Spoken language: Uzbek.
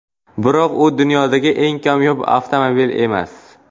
Biroq u dunyodagi eng kamyob avtomobil emas.